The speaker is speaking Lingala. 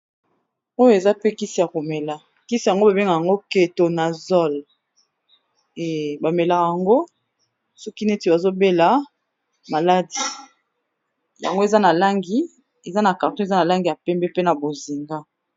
Oyo eza pe kisi ya komela kisi yango ba bengaka yango Ketonazol, ba melaka yango soki neti bazo bela maladie. Yango eza na langi eza na carton eza na langi ya pembe, mpe na bozinga.